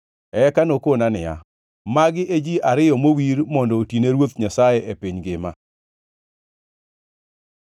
Eka nokona niya, “Magi e ji ariyo mowir mondo otine Ruoth Nyasaye e piny ngima.”